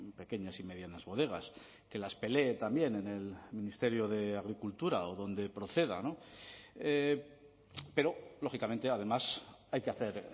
pequeñas y medianas bodegas que las pelee también en el ministerio de agricultura o donde proceda pero lógicamente además hay que hacer